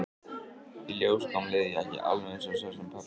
Í ljós kom leðurjakki, alveg eins og sá sem pabbi var í.